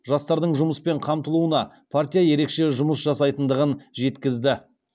жастардың жұмыспен қамтылуына партия ерекше жұмыс жасайтындығын жеткізді